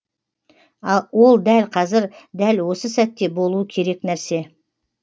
ол дәл қазір дәл осы сәтте болуы керек нәрсе